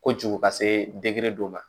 Kojugu ka se dɔ ma